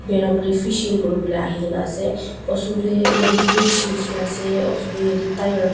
Berabole fishing kurivole ahikena ase osor dae yatheh bridge neshina ase osor dae yatheh tire kh--